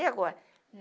E agora?